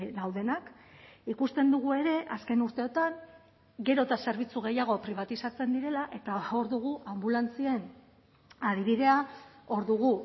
daudenak ikusten dugu ere azken urteotan gero eta zerbitzu gehiago pribatizatzen direla eta hor dugu anbulantzien adibidea hor dugu